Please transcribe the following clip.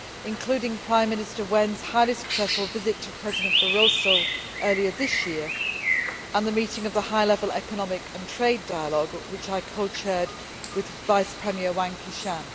including Prime Minister Wen's highly successful visit to President Barroso earlier this year and the meeting of the high level economic and trade dialogue which I co chaired with Vice Premier Wang Qishan.